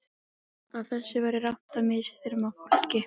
Að það væri rangt að misþyrma fólki.